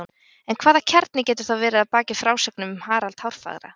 en hvaða kjarni getur þá verið að baki frásögnum um harald hárfagra